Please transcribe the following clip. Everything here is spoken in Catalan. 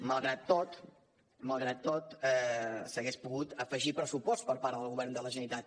malgrat tot malgrat tot s’hauria pogut afegir pressupost per part del govern de la generalitat